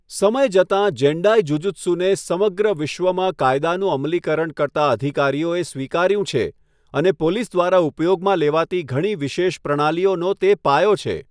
સમય જતાં, જેન્ડાઇ જુજુત્સુને સમગ્ર વિશ્વમાં કાયદાનું અમલીકરણ કરતા અધિકારીઓએ સ્વીકાર્યું છે અને પોલીસ દ્વારા ઉપયોગમાં લેવાતી ઘણી વિશેષ પ્રણાલીઓનો તે પાયો છે.